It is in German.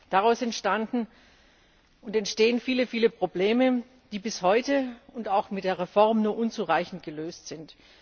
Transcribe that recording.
Daraus entstanden und entstehen viele, viele Probleme, die bis heute und auch mit der Reform nur unzureichend gelöst sind.